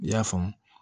I y'a faamu